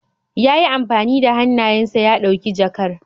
Ya yi amfani da hannayensa ya ɗauki jakar.